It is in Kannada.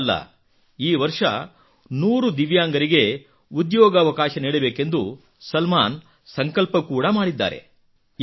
ಇಷ್ಟೇ ಅಲ್ಲ ಈವರ್ಷ 100 ದಿವ್ಯಾಂಗರಿಗೆ ಉದ್ಯೋಗಾವಕಾಶ ನೀಡಬೇಕೆಂದು ಸಲ್ಮಾನ್ ಸಂಕಲ್ಪ ಕೂಡಾ ಮಾಡಿದ್ದಾರೆ